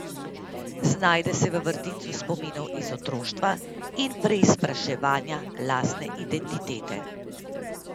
Znajde se v vrtincu spominov iz otroštva in preizpraševanja lastne identitete.